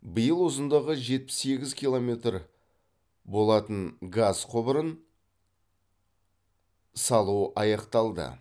биыл ұзындығы жетпіс сегіз километр болатын газ құбырын салу аяқталды